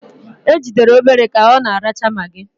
Ejidere Obere ka ọ na-aracha magị.